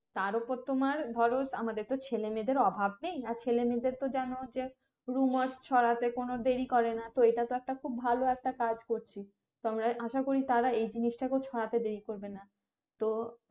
তারওপর তোমার ধরো আমাদের তো ছেলেমেয়েদের অভাব নেই আর ছেলেমেয়েদের তো যেরুম ছড়াতে কোনো দেরি করে না তো এইটা তো একটা খুব ভালো একটা কাজ করছি তো আমরা আসা করি তারা এই জিনিসটাকেও ছড়াতে দেরি করবে না তো